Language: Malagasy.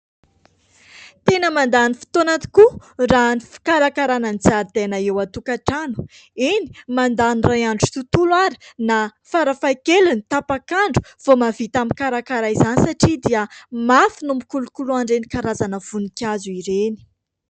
Tena mandany fotoana tokoa raha ny fikarakarana ny zaridaina eo an-tokantrano. Eny, mandany iray andro tontolo ary na farafahakeliny tapak'andro vao mahavita mikarakara izany satria dia mafy no mikolokolo an'ireny karazana voninkazo ireny.